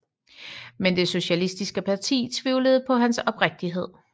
Men det socialistiske parti tvivlede på hans oprigtighed